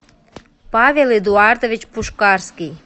павел эдуардович пушкарский